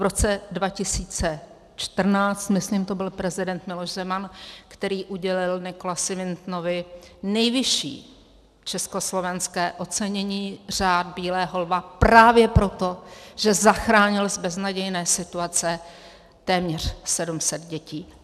V roce 2014, myslím, to byl prezident Miloš Zeman, který udělil Nicholasi Wintonovi nejvyšší československé ocenění, Řád bílého lva, právě proto, že zachránil z beznadějné situace téměř 700 dětí.